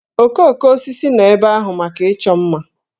Okooko osisi nọ ebe ahụ maka ịchọ mma